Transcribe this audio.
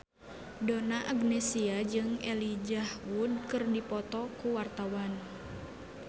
Donna Agnesia jeung Elijah Wood keur dipoto ku wartawan